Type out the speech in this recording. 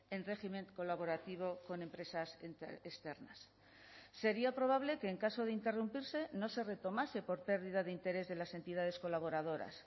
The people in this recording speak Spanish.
en régimen colaborativo con empresas externas sería probable que en caso de interrumpirse no se retomase por pérdida de interés de las entidades colaboradoras